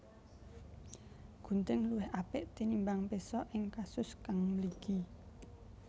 Gunting luwih apik tinimbang péso ing kasus kang mligi